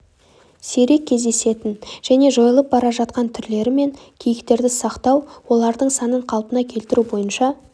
сирек кездесетін және жойылып бара жатқан түрлері мен киіктерді сақтау олардың санын қалпына келтіру бойынша